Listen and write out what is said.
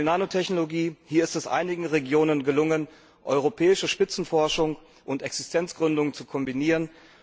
Beispiel Nanotechnologie Hier ist es einigen Regionen gelungen, europäische Spitzenforschung und Existenzgründung zu kombinieren.